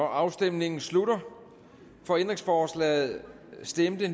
afstemningen slutter for ændringsforslaget stemte